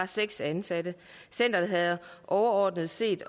seks ansatte centeret havde overordnet set